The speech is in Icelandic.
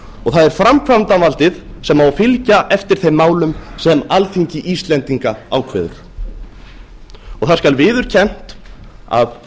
og það er framkvæmdarvaldið sem á að fylgja eftir þeim málum sem alþingi íslendinga ákveður það skal viðurkennt að